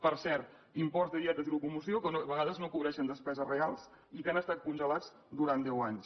per cert imports de dietes i locomoció que a vegades no cobreixen despeses reals i que han estat congelats durant deu anys